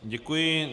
Děkuji.